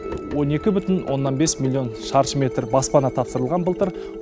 он екі бүтін оннан бес миллион шаршы метр баспана тапсырылған былтыр